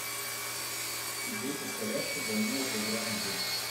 игру повторяшка данила поиграем в